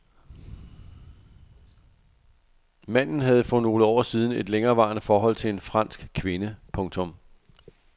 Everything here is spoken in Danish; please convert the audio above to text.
Manden havde for nogle år siden et længerevarende forhold til en fransk kvinde. punktum